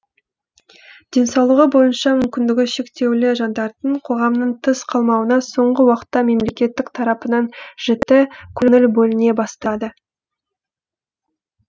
денсаулығы бойынша мүмкіндігі шектеулі жандардың қоғамнан тыс қалмауына соңғы уақытта мемлекет тарапынан жіті көңіл бөліне бастады